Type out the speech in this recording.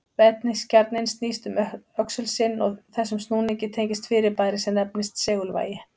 Vetniskjarninn snýst um öxul sinn og þessum snúningi tengist fyrirbæri sem nefnist segulvægi.